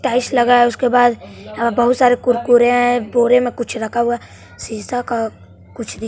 tiles लगा है उसके बाद यहां बहुत सारे कुरकुरे हैं बोरे मे कुछ रखा हुआ हैं शीशा का कुछ भी--